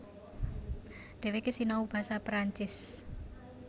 Dhèwèké sinau basa Perancis